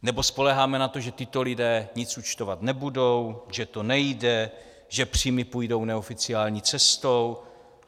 Nebo spoléháme na to, že tito lidé nic účtovat nebudou, že to nejde, že příjmy půjdou neoficiální cestou?